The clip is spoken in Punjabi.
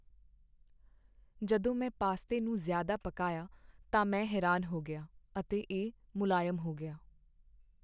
ਜਦੋਂ ਮੈਂ ਪਾਸਤੇ ਨੂੰ ਜ਼ਿਆਦਾ ਪਕਾਇਆ ਤਾਂ ਮੈਂ ਹੈਰਾਨ ਹੋ ਗਿਆ , ਅਤੇ ਇਹ ਮੁਲਾਇਮ ਹੋ ਗਿਆ।